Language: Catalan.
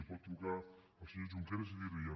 i pot trucar al senyor junqueras i dir li ho